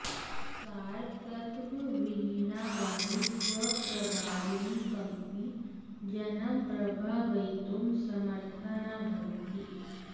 सारतत्त्वविहीना वाणी स्वप्रभावेन कमपि जनं प्रभावयितुं समर्था न भवति